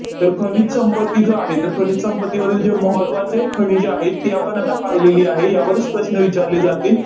तर खनिज संपत्ती जो आहे, तर खनिज संपत्तीमधील जे महत्त्वाचे खनिजे आहेत, ते आपण आता पाहिलेली आहे. यावर प्रश्न विचारले जातील.